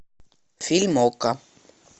фильм окко